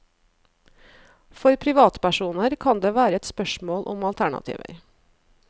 For privatpersoner kan det være et spørsmål om alternativer.